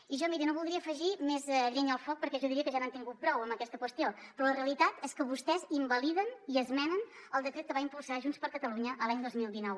i jo miri no voldria afegir més llenya al foc perquè jo diria que ja n’han tingut prou en aquesta qüestió però la realitat és que vostès invaliden i esmenen el decret que va impulsar junts per catalunya l’any dos mil dinou